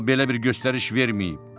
O belə bir göstəriş verməyib.